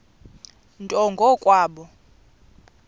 nto ngo kwabo